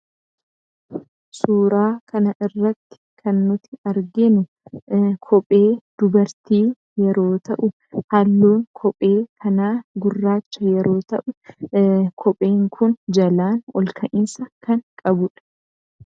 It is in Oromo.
Suuraa kana irratti kan nuti arginu kophee dubartii yeroo ta'u, halluu kophee kanaa gurraacha yeroo ta'u, kopheen kun jalaa olka'iinsa kan qabudha.